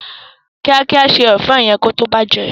kíákíá se èfó yén kí ó tó bàjé.